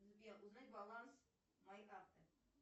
сбер узнай баланс моей карты